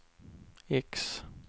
X